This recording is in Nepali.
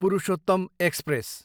पुरुषोत्तम एक्सप्रेस